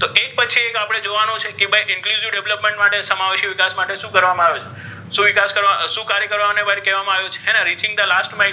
તો એક પછી એક જોવાનુ છે કે ભાઇ inclusive development સમાવેશ વિકાસ માટે શુ કરવામા આવે છે શુ વિકાસ કાર્ય કરવામા ,